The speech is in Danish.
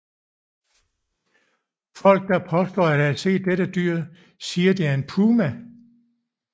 Folk der påstår at have set dette dyr siger at det er en puma